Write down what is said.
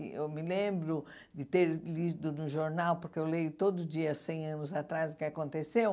Eu me lembro de ter lido num jornal, porque eu leio todo dia há cem anos atrás o que aconteceu.